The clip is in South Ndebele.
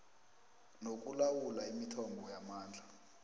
nokulawula imithombo yamandla